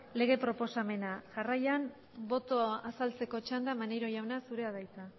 lege proposamena jarraian botoa azaltzeko txanda maneiro jauna zurea da hitza